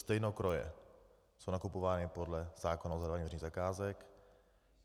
Stejnokroje jsou nakupovány podle zákona o zadávání veřejných zakázek.